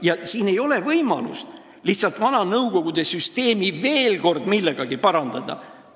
Ja siin ei aita see, kui me lihtsalt vana Nõukogude süsteemi veel kord millegagi parandada püüame.